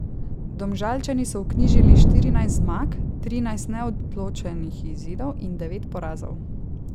Domžalčani so vknjižili štirinajst zmag, trinajst neodločenih izidov in devet porazov.